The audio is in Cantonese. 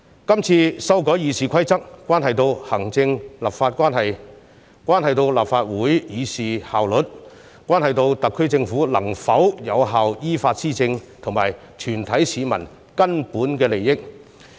今次修改《議事規則》，關係到行政立法關係、關係到立法會議事效率、關係到特區政府能否有效依法施政，以及全體市民根本的利益。